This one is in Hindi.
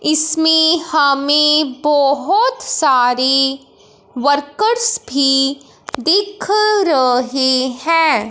इसमें हमें बहोत सारे वर्कर्स भी दिख रहे हैं।